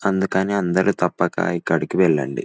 అందుకని అందరూ తప్పక ఇక్కడికి వెళ్ళండి.